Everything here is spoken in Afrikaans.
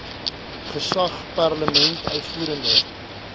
gesag parlement uitvoerende